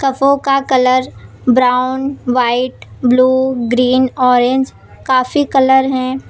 कफ़ों colour brown white blue green orange काफी colour हैं।